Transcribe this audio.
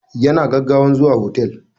Ya na gaggawan zuwa hotel.